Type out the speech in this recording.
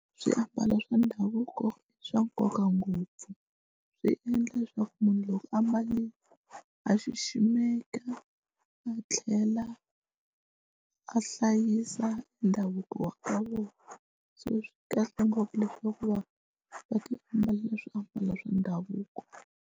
Swiambalo swa ndhavuko i swa nkoka ngopfu swi endla leswaku munhu loko a mbale a xiximeka a tlhela a hlayisa ndhavuko wa ka vona so swi kahle ngopfu leswaku va va ti ambalela swiambalo swa ndhavuko.